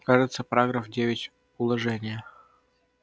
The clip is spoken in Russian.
кажется параграф девять уложения